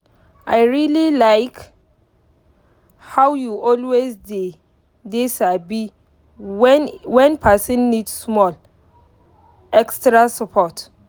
i really like how you always dey dey sabi when person need small extra support.